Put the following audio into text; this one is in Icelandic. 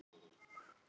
Af hverju harðnar það?